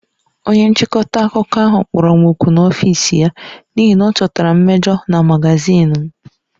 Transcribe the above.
Onye nchịkọta akụkọ ahụ kpọrọ m òkù n'ọfịs ya n'ihi na ọ chọtara mmejọ na magazin m